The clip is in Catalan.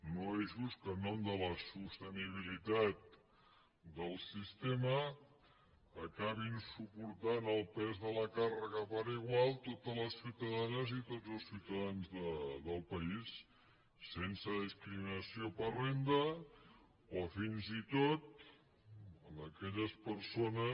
no és just que en nom de la sostenibilitat del sistema acabin suportant el pes de la càrrega per igual totes les ciutadanes i tots els ciutadans del país sense discriminació per renda o fins i tot aquelles persones